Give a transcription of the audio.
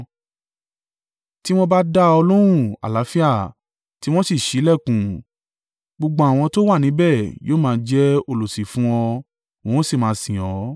Tí wọ́n bá dá ọ lóhùn àlàáfíà, tí wọ́n sì ṣí ìlẹ̀kùn, gbogbo àwọn tó wà níbẹ̀ yóò máa jẹ́ olùsìn fún ọ, wọn ó sì máa sìn ọ́.